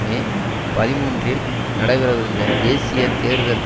மே பதிமூன்றில் நடைபெறவிருந்த தேசிய தேர்தல்களில்